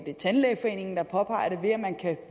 tandlægeforeningen påpeger ved at man kan